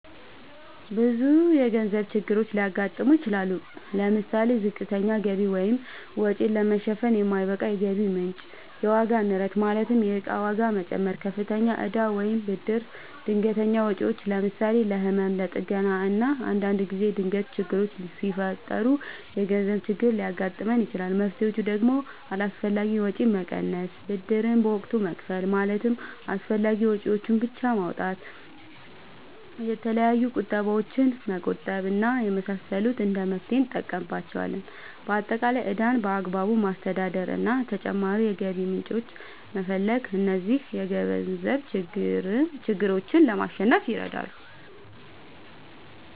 ብዙ የገንዘብ ችግሮች ሊያጋጥሙ ይችላሉ። ለምሳሌ፦ ዝቅተኛ ገቢ(ወጪን ለመሸፈን የማይበቃ የገቢ ምንጭ) ፣የዋጋ ንረት ማለትም የእቃ ዋጋ መጨመር፣ ከፍተኛ እዳ ወይም ብድር፣ ድንገተኛ ወጪዎች ለምሳሌ፦ ለህመም፣ ለጥገና እና አንዳንድ ጊዜ ድንገት ችግሮች ሲፈጠሩ የገንዘብ ችግር ሊያጋጥም ይችላል። መፍትሔዎቹ ደግሞ አላስፈላጊ ወጪን መቀነስ፣ ብድርን በወቅቱ መክፈል ማለትም አስፈላጊ ወጪዎችን ብቻ ማውጣት፣ የተለያዩ ቁጠባዎችን መቆጠብ እና የመሳሰሉት እንደ መፍትሔ እንጠቀምባቸዋለን። በአጠቃላይ ዕዳን በአግባቡ ማስተዳደር እና ተጨማሪ የገቢ ምንጮችን መፈለግ እነዚህን የገንዘብ ችግሮች ለማሸነፍ ይረዳሉ።